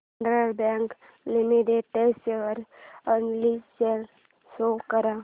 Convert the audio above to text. federal bank limited share analysis show कर